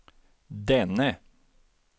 denne